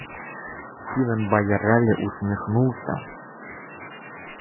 стивен байерли усмехнулся